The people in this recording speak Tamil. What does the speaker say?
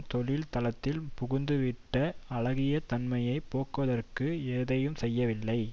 தொழில் தளத்தில் புகுந்துவிட்ட அழுகிய தன்மையை போக்குவதற்கு எதையும் செய்யவில்லை